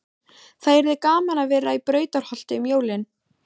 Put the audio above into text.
Það yrði gaman að vera í Brautarholti um jólin.